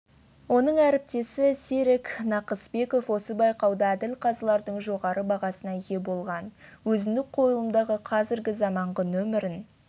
оның әріптесі серік нақыспеков осы байқауда әділқазылардың жоғары бағасына ие болған өзіндік қойылымдағы қазіргі заманғы нөмірін